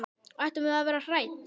Ættum við að vera hrædd?